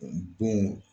Don